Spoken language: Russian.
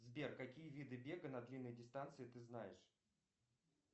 сбер какие виды бега на длинные дистанции ты знаешь